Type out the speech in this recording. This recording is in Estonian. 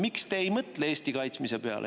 Miks te ei mõtle Eesti kaitsmise peale?